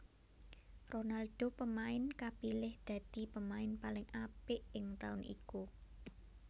Ronaldo pemain kapilih dadi pemain paling apik ing taun iku